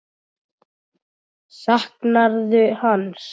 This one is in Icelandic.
Saknarðu hans?